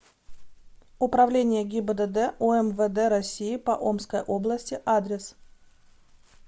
управление гибдд умвд россии по омской области адрес